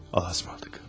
Ah, batdıq.